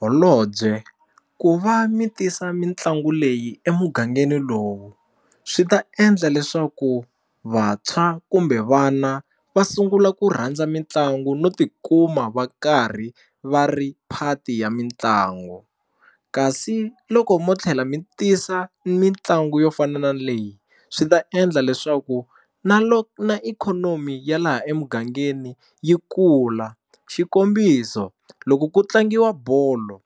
Holobye ku va mi tisa mitlangu leyi emugangeni lowu swi ta endla leswaku vantshwa kumbe vana va sungula ku rhandza mitlangu no tikuma va karhi va ri phati ya mitlangu kasi loko mo tlhela mi tisa mitlangu yo fana na leyi swi ta endla leswaku na na ikhonomi ya laha emugangeni yi kula xikombiso loko ku tlangiwa bolo